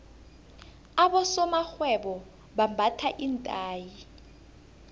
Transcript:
abosomarhwebo bambatha iinthayi